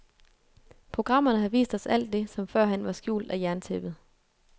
Programmerne har vist os alt det, som førhen var skjult af jerntæppet.